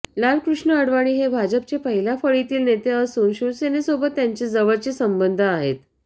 लालकृष्ण अडवाणी हे भाजपचे पहिल्या फळीतील नेते असून शिवसेनेसोबत त्यांचे जवळचे संबंध आहेत